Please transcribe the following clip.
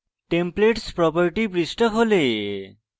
templates property পৃষ্ঠা খোলে